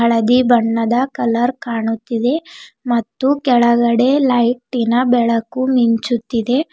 ಹಳದಿ ಬಣ್ಣದ ಕಲರ್ ಕಾಣುತ್ತಿದೆ ಮತ್ತು ಕೆಳಗಡೆ ಲೈಟಿನ ಬೆಳಕು ಮಿಂಚುತ್ತಿದೆ.